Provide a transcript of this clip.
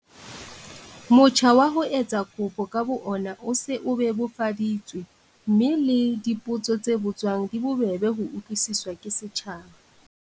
Motjha wa ho etsa kopo ka bo ona o se o bebofaditswe mme le dipotso tse botswang di bobebe ho utlwisiswa ke setjhaba.